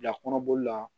Bila kɔnɔboli la